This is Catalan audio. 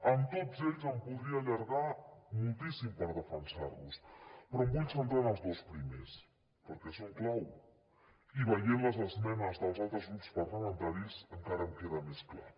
amb tots ells em podria allargar moltíssim per defensarlos però em vull centrar en els dos primers perquè són clau i veient les esmenes dels altres grups parlamentaris encara em queda més clar